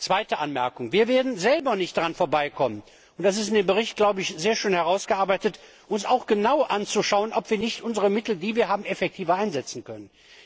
Zweite Anmerkung Wir werden selber nicht daran vorbeikommen und das ist in dem Bericht sehr schön ausgearbeitet uns genau anzuschauen, ob wir nicht unsere Mittel, die wir haben, effektiver einsetzen können.